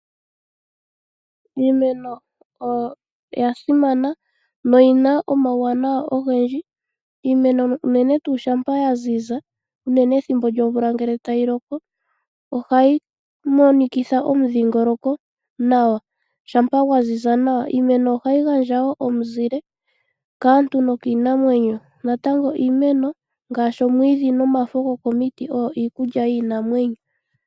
Iimeno oya simana noyi na omauwanawa ogendji. Iimeno unene shampa ya ziza pethimbo lyomvula ngele tayi loko ohayi monikitha omudhingoloko nawa, shampa gwa ziza nawa. Iimeno ohayi gandja omuzile kaantu nokiinamwenyo. Natango iimeno ngaashi omwiidhi nomafo gokomiti oyo iikulya yiinamwenyo.